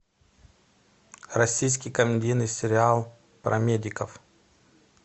российский комедийный сериал про медиков